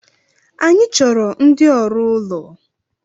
Anyi chọrọ ndi ọrụ ụlọ